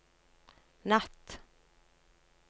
natt